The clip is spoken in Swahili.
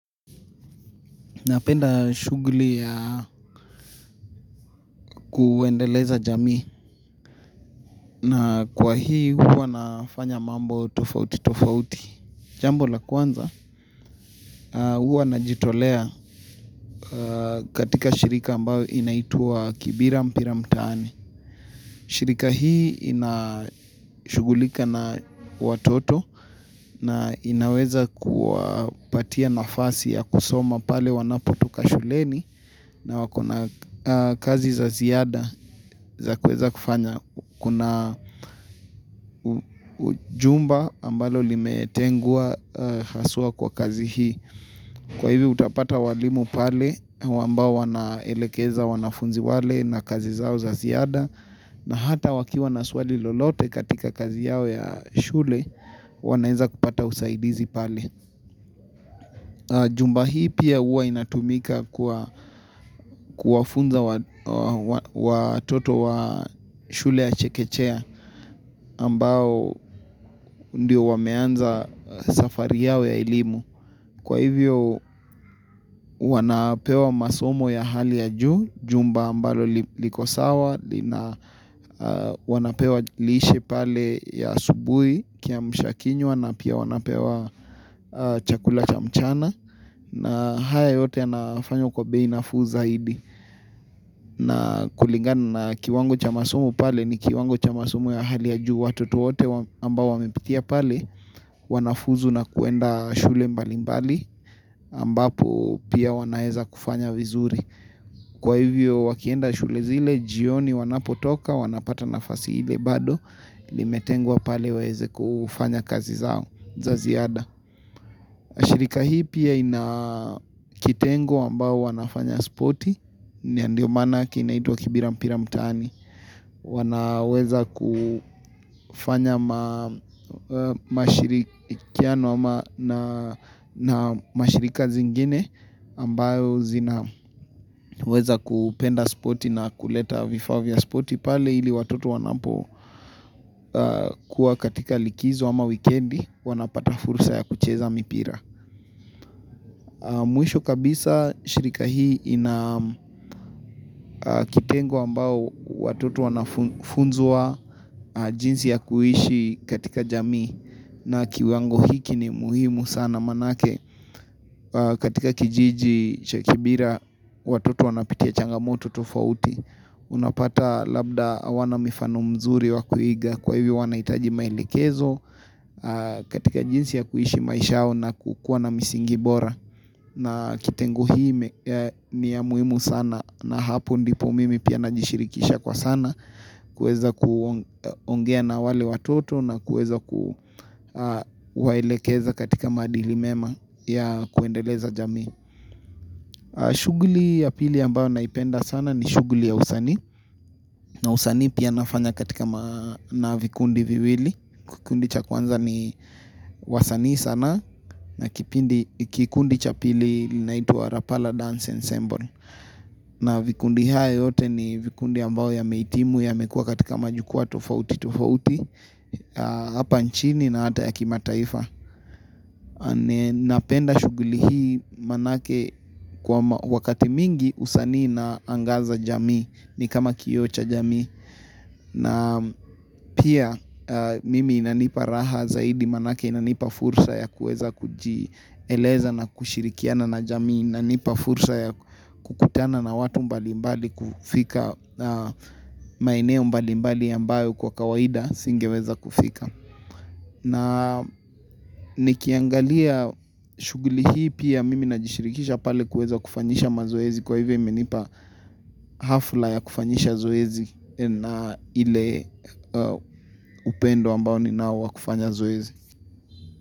Napenda shughuli ya kuendeleza jamii. Na kwa hii huwa nafanya mambo tofauti tofauti. Jambo la kwanza, huwa najitolea katika shirika ambao inaitwa kibira mpira mtaani. Shirika hii inashugulika na watoto. Na inaweza kupatia nafasi ya kusoma pale wanapotoka shuleni. Na wakona kazi za ziada za kueza kufanya. Kuna jumba ambalo limetengwa haswa kwa kazi hii. Kwa hivyo utapata walimu pale. Wambao wanaelekeza wanafunzi wale na kazi zao za ziada. Na hata wakiwa na swali lolote katika kazi yao ya shule, wanaeza kupata usaidizi pale. Jumba hii pia huwa inatumika kwa kuwafunza watoto wa shule ya chekechea ambao ndio wameanza safari yao ya elimu. Kwa hivyo, wanapewa masomo ya hali ya juu. Jumba ambalo liko sawa na wanapewa lishe pale ya asubuhi. Kiamsha kinywa na pia wanapewa chakula cha mchana. Na haya yote anafanya kwa bei nafuu zaidi. Na kulingana na kiwango cha masomo pale ni, kiwango cha masomo ya hali ya juu. Watoto wote ambao wamepitia pale Wanafuzu na kuenda shule mbali mbali ambapo pia wanaeza kufanya vizuri. Kwa hivyo wakienda shule zile jioni wanapotoka, wanapata nafasi ile bado. Limetengwa pale waeze kufanya kazi zao za ziada. Shirika hii pia ina kitengo ambao wanafanya spoti. Na ndio manake inaitwa kibira mpira mtani. Wanaweza kufanya mashirikiano na mashirika zingine. Ambao zinaweza kupenda spoti na kuleta vifaa vya spoti. Pale ili watoto wanapokuwa katika likizo ama wikendi, wanapata fursa ya kucheza mpira. Mwisho kabisa shirika hii ina kitengo ambao watoto wanafunzwa jinsi ya kuishi katika jamii. Na kiwango hiki ni muhimu sana manake katika kijiji cha Kibira, watoto wanapitia changamoto tofauti. Unapata labda hawana mifano mzuri wa kuiga. Kwa hivyo wanahitaji maelekezo katika jinsi ya kuishi maisha yao na kukuwa na msingi bora. Na kitengo hii ni ya muhimu sana. Na hapo ndipo mimi pia najishirikisha kwa sana. Kueza kuongea na wale watoto. Na kueza kuwaelekeza katika maadili mema ya kuendeleza jamii. Shughuli ya pili ambayo naipenda sana ni shughuli ya usani. Na usani pia nafanya katika na vikundi viwili. Kikundi cha kwanza ni wasani sana na kikundi cha pili linaitwa Rapala Dance and Semble. Na vikundi haya yote ni vikundi ambao yamehitimu yamekua katika majukwa tofauti tofauti. Hapa nchini na ata ya kimataifa. Napenda shughuli hii manake, kwa wakati mingi usani inaangaza jamii. Ni kama kioo cha jamii. Na Pia, mimi inanipa raha zaidi manake inanipa fursa ya kuweza kujieleza na kushirikiana na jamii. Inanipa fursa ya kukutana na watu mbali mbali. Kufika maeneo mbali mbali ambao kwa kawaida singeweza kufika. Na nikiangalia shughuli hii pia mimi najishirikisha pale kuweza kufanyisha mazoezi. Kwa hivyo imenipa hafla ya kufanyisha zoezi na ile upendo ambao ninao wa kufanya zoezi.